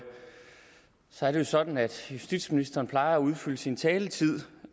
så er det jo sådan at justitsministeren plejer at udfylde sin taletid